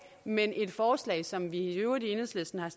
men et forslag som vi i øvrigt i enhedslisten har